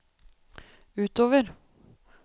utover